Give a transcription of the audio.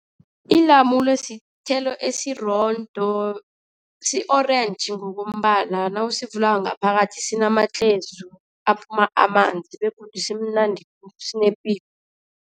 Ilamule sithelo esirondo, si-orentji ngokombala. Nawusivula ngaphakathi sinamatlhezu aphuma amanzi begodu simnandi, sinepilo.